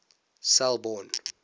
selborne